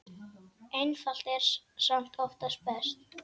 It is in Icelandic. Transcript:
Einfalt er samt oftast best.